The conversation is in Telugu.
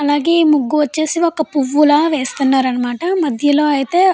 అలాగే ఇక్కడ ముగ్గు వచ్చేసి పువ్వు లాగా వేస్తున్నారన్నమాట. మధ్యలో అయితే --